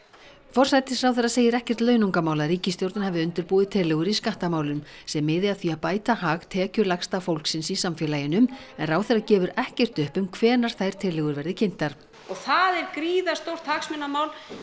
forsætisráðherra segir ekkert launungarmál að ríkisstjórnin hafi undirbúið tillögur í skattamálum sem miði að því að bæta hag tekjulægsta fólksins í samfélaginu en ráðherra gefur ekkert upp um hvenær þær tillögur verði kynntar og það er gríðarstórt hagsmunamál